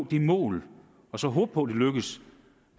det mål og så håbe på at det lykkes